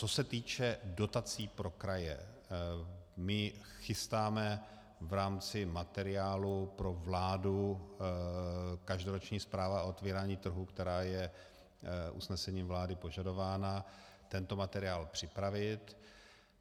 Co se týče dotací pro kraje, my chystáme v rámci materiálu pro vládu každoroční zpráva o otevírání trhu, která je usnesením vlády požadována, tento materiál připravit.